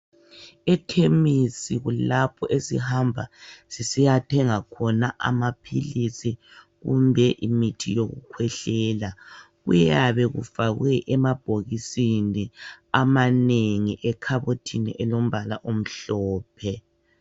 Ekhemisi kulapho esihamba sisiyathenga khona amaphilisi kumbe imithi yokukhwehlela. Kuyabe kufakwe emabhokisini amanengi ekhabothini elombala omhlophe